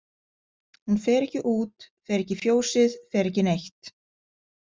Hún fer ekki út, fer ekki í fjósið, fer ekki neitt.